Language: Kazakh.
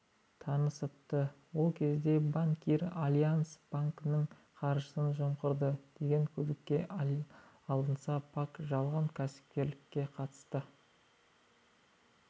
танысыпты ол кезде банкир альянс банкінің қаржысын жымқырды деген күдікке алынса пак жалған кәсіпкерлікке қатысты